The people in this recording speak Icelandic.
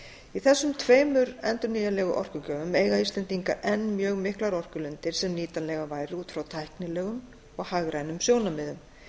í þessum tveimur endurnýjanlegu orkugjöfum eiga íslendingar enn mjög miklar orkulindir sem nýtanlegar væru út frá tæknilegum og hagrænum sjónarmiðum